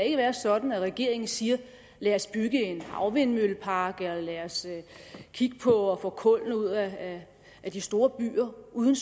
ikke være sådan at regeringen siger lad os bygge en havvindmøllepark eller lad os kigge på at få kullene ud af af de store byer uden